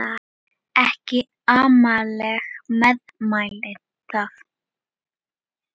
Ekki amaleg meðmæli það.